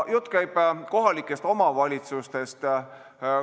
Jutt käib kohalikest omavalitsustest.